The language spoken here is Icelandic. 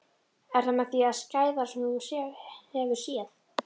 Er það með því skæðara sem þú hefur séð?